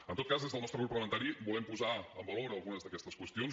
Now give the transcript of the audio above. en tot cas des del nostre grup parlamentari volem posar en valor algunes d’aquestes qüestions